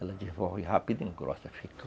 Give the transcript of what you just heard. Ela desenvolve rápido e engrossa.